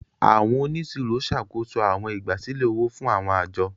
Àwọn oniṣiro ṣakoso áwọn igbasilẹ ówò fun áwọn ajo.